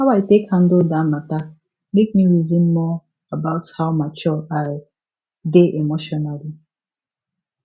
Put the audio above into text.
how i take handle that matter make me reason more about how mature i dey emotionally